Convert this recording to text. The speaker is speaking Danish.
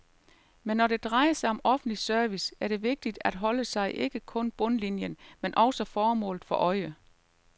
Men når det drejer sig om offentlig service, er det vigtigt at holde sig ikke kun bundlinien, men også formålet for øje.